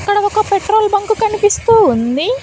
ఇక్కడ ఒక petrol bunk కనిపిస్తూ ఉంది.